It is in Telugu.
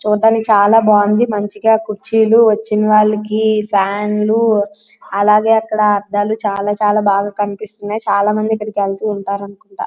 చూడడానికి చాలా బాగుంది మంచిగా కుర్చీలు వచ్చినవాళ్ళకి ఫ్యాన్లు అలాగే అక్కడ అద్దాలు చాల చాల బాగా కనిపిస్తున్నాయి చాలా మంది ఇక్కడకి వెళ్తూ ఉంటారనుకుంట.